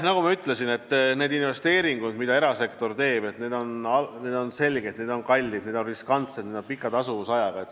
Nagu ma ütlesin, on selge, et need investeeringud, mida erasektor teeb, on kallid, riskantsed ja pika tasuvusajaga.